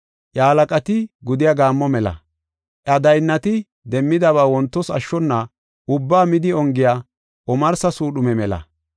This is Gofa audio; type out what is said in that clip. Iya halaqati gudiya gaammo mela; iya daynnati demmidaba wontos ashshona ubbaa midi ongiya omarsa suudhume mela.